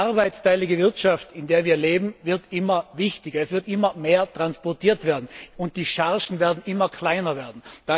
Die arbeitsteilige Wirtschaft, in der wir leben, wird immer wichtiger. Es wird immer mehr transportiert werden, und die Chargen werden immer kleiner werden.